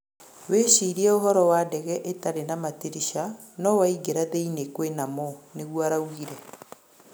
Wecĩrĩe ũhoro wa ndege ĩtarĩ na matĩrisha no waĩngĩra thĩĩnĩ kwĩnamo", nĩgũo araugĩre